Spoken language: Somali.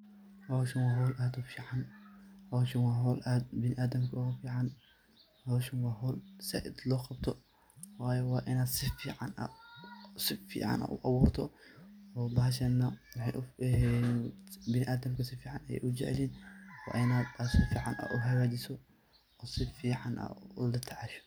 Howshan waa howl aad u fican, howshan waa howl aad biniadamka ugu fican, howshan waa howl zaid loo qabto, waayo waa inaad si fican aad u aburto oo bahashana biniadamka si fican ayey u jecelyihin waa in aad si fican aad uu hagajiso oo si fican aad ula tacasho.